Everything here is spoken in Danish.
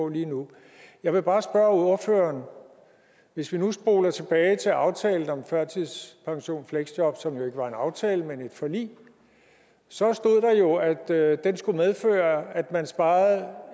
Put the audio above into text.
lige nu jeg vil bare spørge ordføreren hvis vi nu spoler tilbage til aftalen om førtidspension og fleksjob som jo ikke var en aftale men et forlig så stod der at den skulle medføre at man sparede